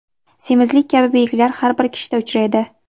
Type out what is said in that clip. semizlik kabi belgilar har bir kishida uchraydi.